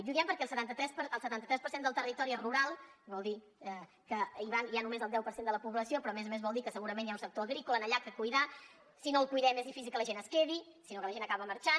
i ho diem perquè el setanta tres per cent del territori és rural vol dir que hi ha només el deu per cent de la població però a més a més vol dir que segurament hi ha un sector agrícola allà que cuidar si no el cuidem és difícil que la gent es quedi sinó que la gent acaba marxant